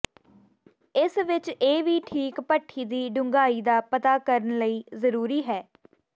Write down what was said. ਇਸ ਵਿਚ ਇਹ ਵੀ ਠੀਕ ਭੱਠੀ ਦੀ ਡੂੰਘਾਈ ਦਾ ਪਤਾ ਕਰਨ ਲਈ ਜ਼ਰੂਰੀ ਹੈ